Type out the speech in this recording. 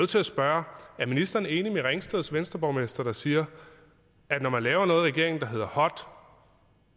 til at spørge er ministeren enig med ringsteds venstreborgmester der siger at når man laver noget i regeringen der hedder hot